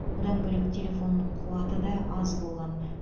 бұдан бөлек телефонның қуаты да аз болған